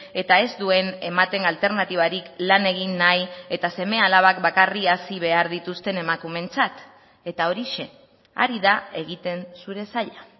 eta ez duen ematen alternatibarik lan egin nahi eta seme alabak bakarrik hazi behar dituzten emakumeentzat eta horixe ari da egiten zure saila